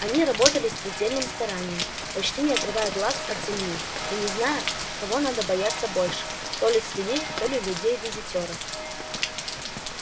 они работали с предельным старанием почти не отрывая глаз от земли и не зная кого надо бояться больше то ли свиней то ли людей-визитёров